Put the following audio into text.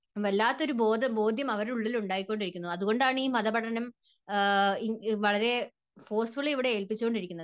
വല്ലാത്തൊരു ബോധം, ബോധ്യം അവരുടെ ഉള്ളിൽ ഉണ്ടായിക്കൊണ്ടിരിക്കുന്നു. അതുകൊണ്ടാണ് ഈ മതപഠനം വളരെ ഫോഴ്സ്‍ഫുള്ളി ഇവിടെ ഏൽപ്പിച്ചു കൊണ്ടിരിക്കുന്നത്.